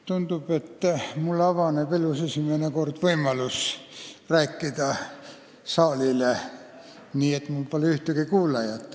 Tundub, et mulle avaneb elus esimest korda võimalus rääkida saalile nii, et mul pole ühtegi kuulajat.